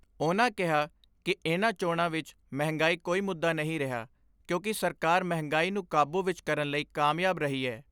ਉਨ੍ਹਾਂ ਕਿਹਾ ਕਿ ਇਨ੍ਹਾਂ ਚੋਣਾਂ ਵਿਚ ਮਹਿੰਗਾਈ ਕੋਈ ਮੁੱਦਾ ਨਹੀਂ ਰਿਹਾ ਕਿਉਂਕਿ ਸਰਕਾਰ ਮਹਿੰਗਾਈ ਨੂੰ ਕਾਬੂ ਵਿਚ ਕਰਨ ਲਈ ਕਾਮਯਾਬ ਰਹੀ ਏ।